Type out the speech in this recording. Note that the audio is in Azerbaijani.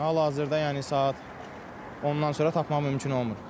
Hal-hazırda, yəni saat 10-dan sonra tapmaq mümkün olmur.